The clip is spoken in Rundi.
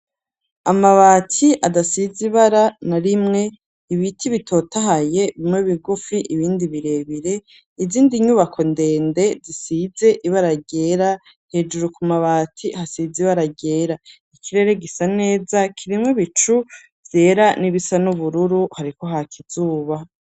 Amabati adasize ibara na rimwe, ibiti bitotahaye ,bimwe bigufi, ibindi birebire, izindi nyubako ndende zisize ibara ryera hejeru ku mabati, hasize ibara ryera ,ikirere gisa neza ,kirimwe bicu vyera n'ibisa n'ubururu hariko hak'izuba.